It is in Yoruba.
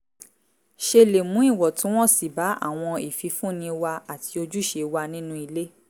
ṣe lè mú ìwọ̀ntúnwọ̀nsì bá àwọn ìfifúnni wa àti ojúṣe wa nínú ilé